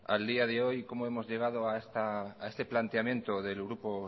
al día de hoy cómo hemos llegado a este planteamiento del grupo